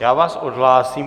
Já vás odhlásím.